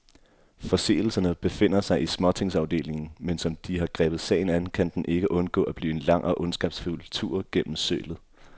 Forseelserne befinder sig i småtingsafdelingen, men som de har grebet sagen an, kan den ikke undgå at blive en lang og ondskabsfuld tur gennem sølet.